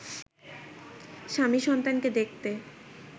স্বামী-সন্তানকে দেখতে